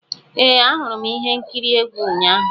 Ee, ahụrụ m ihe nkiri egwu ụnyahụ.